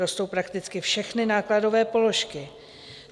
Rostou prakticky všechny nákladové položky.